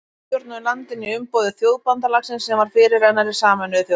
Bretar stjórnuðu landinu í umboði Þjóðabandalagsins sem var fyrirrennari Sameinuðu þjóðanna.